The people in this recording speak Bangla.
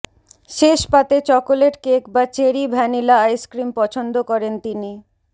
শেষ পাতে চকোলেট কেক বা চেরি ভ্যানিলা আইসক্রিম পছন্দ করেন তিনি